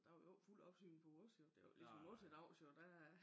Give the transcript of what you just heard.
Der var jo ikke fuld opsyn på os jo det jo ikke ligesom nu til dags der